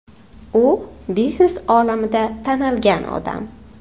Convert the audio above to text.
U biznes olamida tanilgan odam.